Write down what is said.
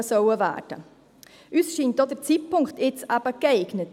Uns scheint auch der Zeitpunkt nun geeignet.